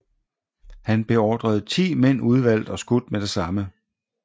Han beordrede ti mænd udvalgt og skudt med det samme